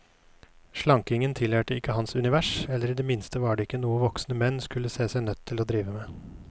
Slankingen tilhørte ikke hans univers, eller i det minste var det ikke noe voksne menn skulle se seg nødt til å drive med.